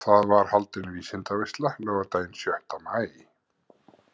Þar var haldin vísindaveisla laugardaginn sjötta maí.